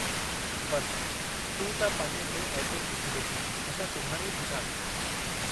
बस तूं त पने ते ऐड्रस लिखी ॾे असां सुभाणे ई थी था अचूं।